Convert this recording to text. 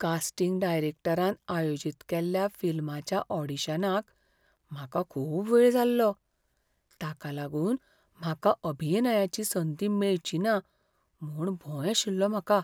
Casting डायरॅक्टरान आयोजीत केल्ल्या फिल्माच्या ऑडिशनाक म्हाका खूब वेळ जाल्लो, ताका लागून म्हाका अभिनयाची संद मेळची ना म्हूण भंय आशिल्लो म्हाका.